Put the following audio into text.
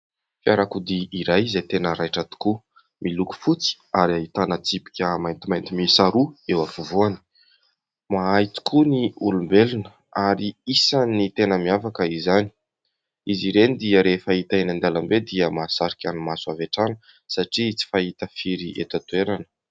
Fiarakodia iray izay tena raitra tokoa. Miloko fotsy ary ahitana tsipika maintimainty mihisa roa eo afovoany. Mahay tokoa ny olombelona, ary isan'ny tena miavaka izany. Izy ireny dia rehefa hita eny an-dalambe dia mahasarika ny maso avy hatrany, satria tsy fahita firy eto an-toerana.